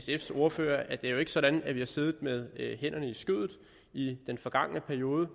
sfs ordfører at det jo ikke er sådan at vi har siddet med hænderne i skødet i den forgangne periode